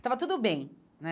Estava tudo bem, né?